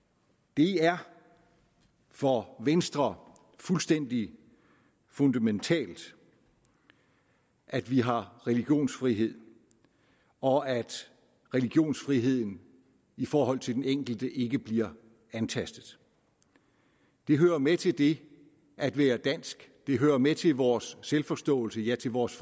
det er for venstre fuldstændig fundamentalt at vi har religionsfrihed og at religionsfriheden i forhold til den enkelte ikke bliver antastet det hører med til det at være dansk det hører med til vores selvforståelse ja til vores